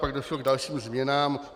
Pak došlo k dalším změnám.